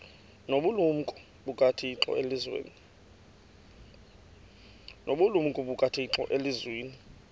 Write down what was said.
nobulumko bukathixo elizwini